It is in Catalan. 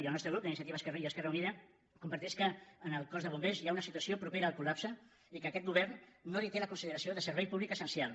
i el nostre grup d’iniciativa i esquerra unida comparteix que en el cos de bombers hi ha una situació propera al col·lapse i que aquest govern no li té la consideració de servei públic essencial